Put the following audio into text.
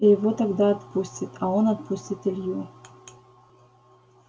и его тогда отпустит а он отпустит илью